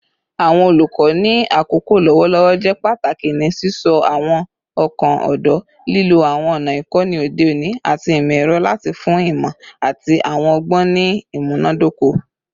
Awọn olukọ ni akoko lọwọlọwọ jẹ pataki ni sisọ awọn ọkan ọdọ, lilo awọn ọna ikọni ode oni ati imọ-ẹrọ lati fun imọ ati awọn ọgbọn ni imunadoko